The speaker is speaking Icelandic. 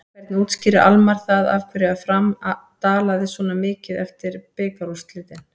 Hvernig útskýrir Almarr það af hverju Fram dalaði svona mikið eftir bikarúrslitin?